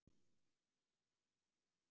Heimir Pálsson ritstýrði.